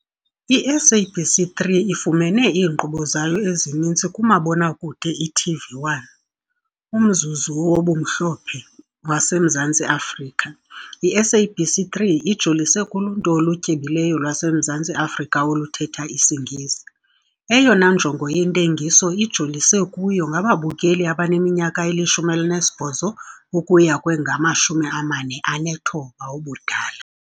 I-SABC3 ifumene iinkqubo zayo ezininzi kumabonakude i-TV1, umzuzu "wobumhlophe" wase Mzantsi Afrika. I-SABC 3 ijolise kuluntu olutyebileyo lwaseMzantsi Afrika oluthetha isiNgesi, Eyona njongo yentengiso ijolise kuyo ngababukeli abaneminyaka eli-18 ukuya kwengama-49 ubudala.